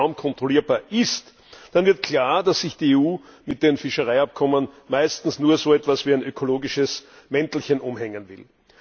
kaum kontrollierbar ist, dann wird klar, dass sich die EU mit den Fischereiabkommen meistens nur so etwas wie ein ökologisches Mäntelchen umhängen will.